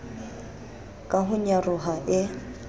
ka ho nyaroha e e